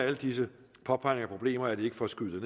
alle disse påpegninger af problemer er det ikke for at skyde